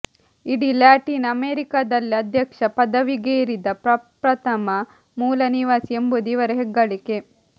ಇಡೀ ಲ್ಯಾಟಿನ್ ಅಮೆರಿಕಾದಲ್ಲೇ ಅಧ್ಯಕ್ಷ ಪದವಿಗೇರಿದ ಪ್ರಪ್ರಥಮ ಮೂಲನಿವಾಸಿ ಎಂಬುದು ಇವರ ಹೆಗ್ಗಳಿಕೆ